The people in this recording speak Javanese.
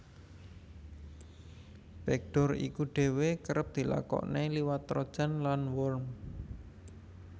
Backdoor iku dhéwé kerep dilakokaké liwat trojan lan worm